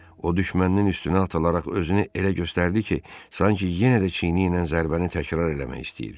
O düşməninin üstünə atılaraq özünü elə göstərdi ki, sanki yenə də çiyni ilə zərbəni təkrar eləmək istəyir.